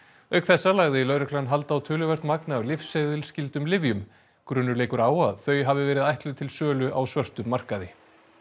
auk þessa lagði lögreglan hald á töluvert magn af lyfseðilsskyldum lyfjum grunur leikur á að þau hafi verið ætluð til sölu á svörtum markaði